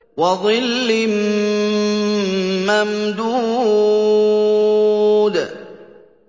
وَظِلٍّ مَّمْدُودٍ